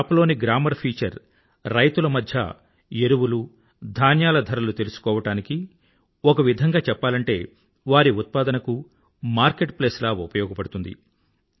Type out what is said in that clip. ఈ యాప్ లోని grammar feature రైతుల మధ్య ఫ్యాక్ట్ రేట్ తెలుసుకోవడానికి ఒక విధంగా చెప్పాలంటే వారి ఉత్పాదనకు మార్కెట్ ప్లేస్ లా ఉపయోగపడుతుంది